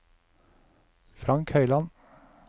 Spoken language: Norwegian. Frank Høiland